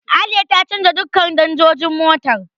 Aliya ta canja duka danjojin motar.